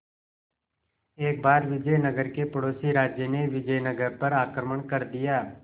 एक बार विजयनगर के पड़ोसी राज्य ने विजयनगर पर आक्रमण कर दिया